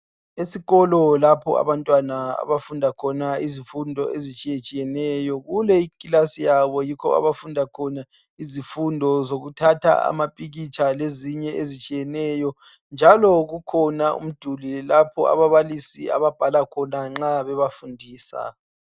Esikolo lapho abantwana abafunda khona izifundo ezitshiyetshiyeneyo. Kule iklasi yabo yikho abafunda khona izifundo zokuthatha amapikitsha lezinye ezitshiyeneyo njalo kukhona umduli lapho ababalisi ababhala khona nxa bebafundisa.